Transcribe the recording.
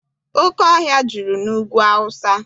Oke ọhịa juru n'Ugwu Awụsa.